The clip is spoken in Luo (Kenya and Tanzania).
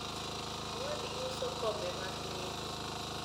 owadgi uso kombe mag nengo